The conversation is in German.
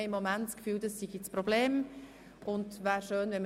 Es wäre schön, wenn das Problem damit gelöst wäre.